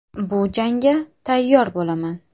Bu jangga tayyor bo‘laman.